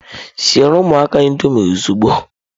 Siere ụmụaka Indọmịị ozugbo!